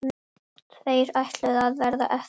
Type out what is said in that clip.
Tveir ætluðu að verða eftir.